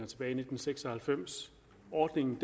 tilbage i nitten seks og halvfems ordningen